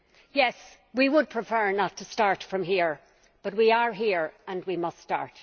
Yes, we would prefer not to start from here, but we are here and we must start.